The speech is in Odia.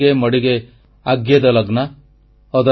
ହୋଡିଗେ ମଡିଗେ ଆଗ୍ୟେଦ ଲଗ୍ନା